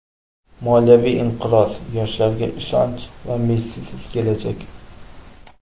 Moliyaviy inqiroz, yoshlarga ishonch va Messisiz kelajak.